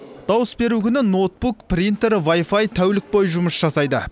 дауыс беру күні ноутбук принтер вай фай тәулік бойы жұмыс жасайды